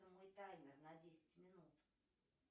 таймер на десять минут